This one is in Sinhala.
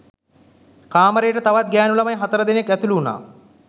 කාමරේට තවත් ගෑණු ළමයි හතර දෙනෙක් ඇතුළු වුණා.